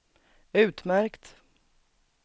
utmärkt